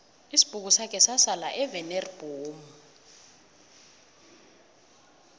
isibhukusakhe sasala evaneri bhomu